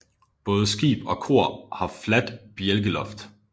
Både skib og kor har fladt bjælkeloft